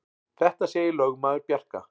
Þetta segir lögmaður Bjarka.